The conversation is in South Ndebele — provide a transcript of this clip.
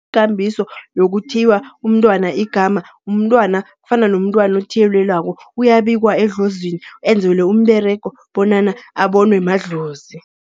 Ikambiso yokuthiywa umntwana igama, umntwana kufana nomntwana othiyelelwako, uyabikwa edlozini enzelwe umberego bonyana abonwe madlozi.